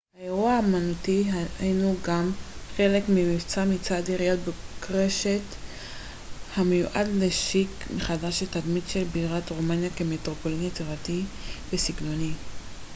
האירוע האמנותי הנו גם חלק ממבצע מצד עיריית בוקרשט המיועד להשיק מחדש את התדמית של בירת רומניה כמטרופולין יצירתי וססגוני